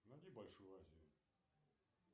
найди большую азию